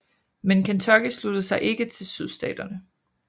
Men Kentucky sluttede sig ikke til Sydstaterne